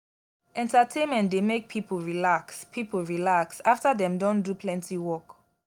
entertainment dey make pipo relax pipo relax afta dem don do plenty work.